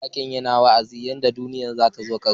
Mawakin yana wa'azin yadda duniya zata zo karshe.